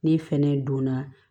Ne fɛnɛ donna